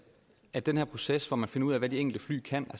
at den her proces hvor man finder ud af hvad de enkelte fly kan